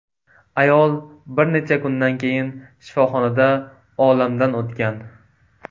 Ayol bir necha kundan keyin shifoxonada olamdan o‘tgan.